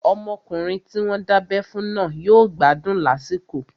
Ọmọkùnrin tí wọ́n dábẹ́ fún náà yóò gbádùn lásìkò